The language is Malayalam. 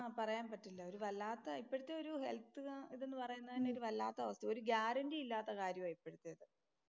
പറയാൻ പറ്റില്ല. ഒരു വല്ലാത്ത ഒരു ഇപ്പഴത്തെ ഒരു ഹെല്‍ത്ത് ഇതെന്ന് പറയുന്നത് തന്നെ ഒരു വല്ലാത്ത അവസ്ഥയാ, ഒരു ഗ്യാരന്‍റി ഇല്ലാത്ത കാര്യമാ ഉപ്പഴത്തെ.